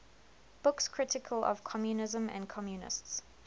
books critical of communism and communists